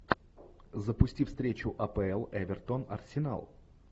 запусти встречу апл эвертон арсенал